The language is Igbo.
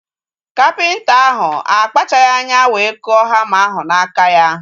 Kapịnta ahu akpachaghi anya wee kụọ hama ahu n'aka ya